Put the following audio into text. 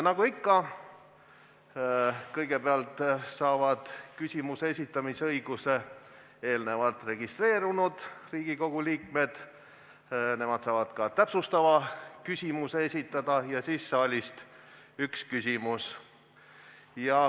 Nagu ikka, kõigepealt saavad küsimuse esitamise õiguse eelnevalt registreerunud Riigikogu liikmed, nemad saavad ka täpsustava küsimuse esitada, ja siis on saalist üks küsimus.